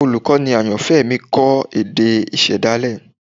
Olukọni ayanfẹ mi kọ ẹkọ isedale